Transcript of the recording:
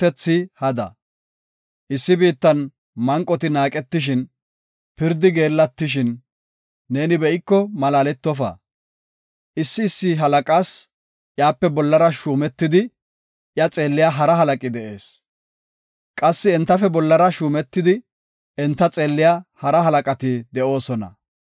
Issi biittan manqoti naaqetishin, pirdi geellatishin neeni be7iko malaaletofa. Issi issi halaqaas iyape bollara shuumetidi iya xeelliya hara halaqi de7ees. Qassi entafe bollara shuumetidi enta xeelliya hara halaqati de7oosona.